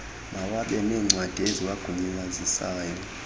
mawabe neencwadi eziwagunyazisayo